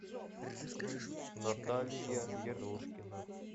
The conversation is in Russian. наталья ерошкина